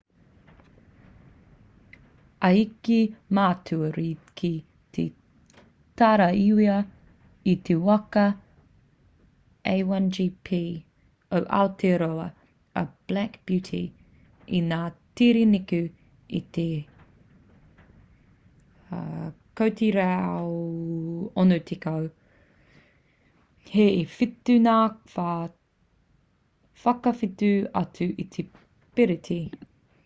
i eke a matua reid ki te taraiwa i te waka a1gp o aotearoa a black beauty i ngā tere neke atu i te 160km/h e whitu ngā wā whakawhiti atu i te piriti